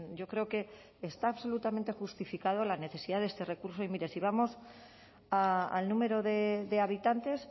yo creo que está absolutamente justificado la necesidad de este recurso y mire si vamos al número de habitantes